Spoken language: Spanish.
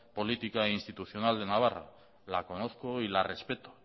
política e institucional de navarra la conozco y la respeto